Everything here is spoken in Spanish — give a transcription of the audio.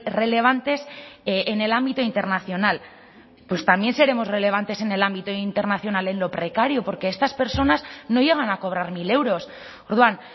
relevantes en el ámbito internacional pues también seremos relevantes en el ámbito internacional en lo precario porque estas personas no llegan a cobrar mil euros orduan